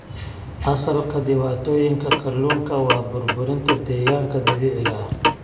Asalka dhibaatooyinka kalluunka waa burburinta deegaanka dabiiciga ah.